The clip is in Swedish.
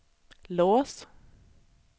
lås